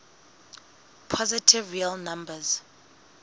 positive real numbers